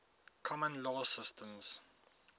common law systems